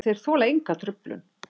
Og þeir þola enga truflun.